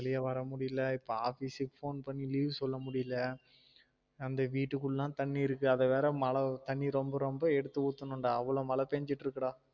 வெளிய வர முடியல இப்போ office க்குக phone பண்ணி leave சொல்ல முடியல அந்த வீட்டுக்குள்ள லாம் தண்ணி இருக்கு அத வேற மழ தண்ணி ரொம்ப ரொம்ப எடுத்து ஊத்தணும் டா அவளோ மழ பேஞ்சிட்டு இருக்கு டா